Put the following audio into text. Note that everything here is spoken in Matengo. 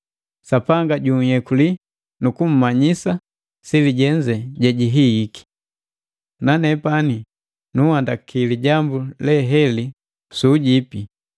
Sapanga juyekuli nu kumanyisa sili jenze jejihihiki. Nanepani nunhandaki lijambu le heli su ujipi,